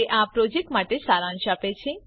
તે આ પ્રોજેક્ટ માટે સારાંશ આપે છે